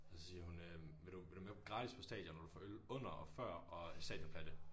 Og så siger hun øh vil du vil du med gratis på stadion og du får øl under og før og stadionplatte